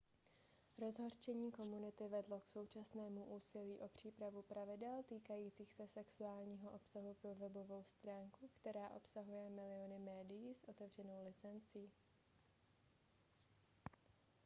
rozhořčení komunity vedlo k současnému úsilí o přípravu pravidel týkajících se sexuálního obsahu pro webovou stránku která obsahuje miliony médií s otevřenou licencí